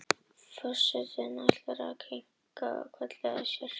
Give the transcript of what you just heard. Forsetinn ætlar að fara að kinka aftur kolli en sér að sér.